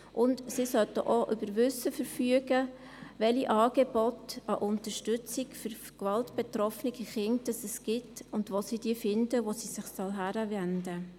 Diese Personen sollten auch über Wissen verfügen, welche Angebote zur Unterstützung gewaltbetroffener Kinder es gibt und wo sie diese finden, wohin sie sich wenden können.